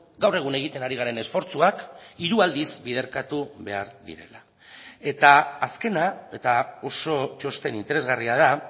gaur egun egiten ari garen esfortzuak hiru aldiz biderkatu behar direla eta azkena eta oso txosten interesgarria da